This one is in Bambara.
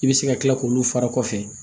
I bɛ se ka tila k'olu fara kɔfɛ